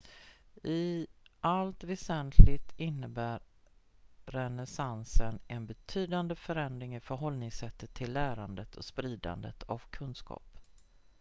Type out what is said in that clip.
i allt väsentligt innebar renässansen en betydande förändring i förhållningssättet till lärandet och spridandet av kunskap